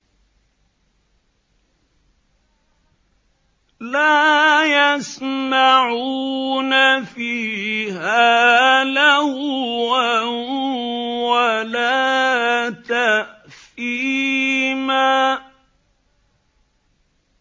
لَا يَسْمَعُونَ فِيهَا لَغْوًا وَلَا تَأْثِيمًا